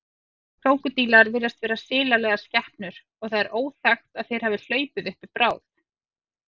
Krókódílar virðast vera silalegar skepnur og það er óþekkt að þeir hafi hlaupið uppi bráð.